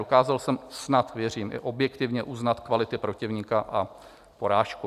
Dokázal jsem snad, věřím, i objektivně uznat kvality protivníka a porážku.